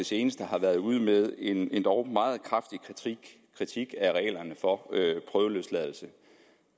seneste har været ude med en endog meget kraftig kritik af reglerne for prøveløsladelse